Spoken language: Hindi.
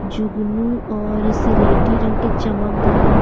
जुगनू और स्लेटी रंग के चमकदार --